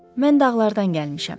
Mən dağlardan gəlmişəm.